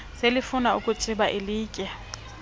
selefuna ukutsiba ilitye